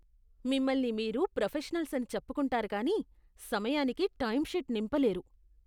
మిమ్మల్ని మీరు ప్రొఫెషనల్స్ అని చెప్పుకుంటారు కానీ సమయానికి టైమ్షీట్ నింపలేరు.